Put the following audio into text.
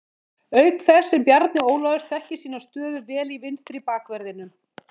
Auk þess sem Bjarni Ólafur þekkir sína stöðu vel í vinstri bakverðinum.